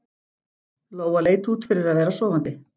Lóa leit út fyrir að vera sofandi.